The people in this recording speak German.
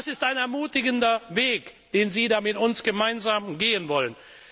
Das ist ein ermutigender Weg, den Sie da mit uns gemeinsam gehen wollen.